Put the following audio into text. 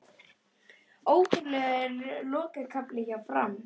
Ótrúlegur lokakafli hjá Fram